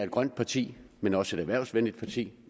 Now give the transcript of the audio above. grønt parti men også et erhvervsvenligt parti